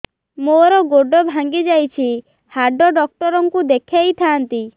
ମୋର ଗୋଡ ଭାଙ୍ଗି ଯାଇଛି ହାଡ ଡକ୍ଟର ଙ୍କୁ ଦେଖେଇ ଥାନ୍ତି